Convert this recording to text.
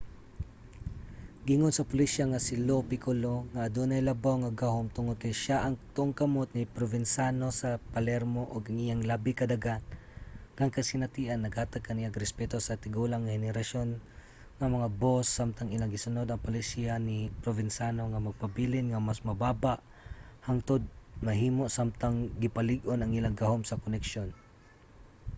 giingon sa pulisya nga si lo piccolo ang adunay labaw nga gahum tungod kay siya ang tuong kamot ni provenzano sa palermo ug ang iyang labi ka daghang kasinatian naghatag kaniya og respeto sa tigulang nga henerasyon nga mga boss samtang ilang gisunod ang palisiya ni provenzano nga magpabilin nga mas mababa hangtod mahimo samtang gipalig-on ang ilang gahom sa koneksyon